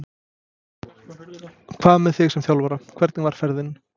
Hvað með þig sem þjálfara, hvernig var ferðin?